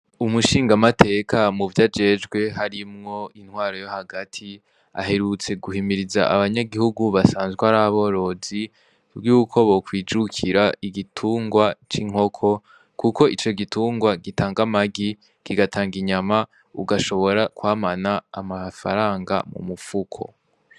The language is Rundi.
Umushingamateka mu vyo ajejwe harimwo intwaro yo hagati, aherutse guhimiriza abanyagihugu basanzwe ar'aborozi yuko bokwijukira igitungwa c'inkoko, kuko ico gitungwa gitanga amagi kigatanga inyama ugashobora kwamana amafaranga mu mupfuko.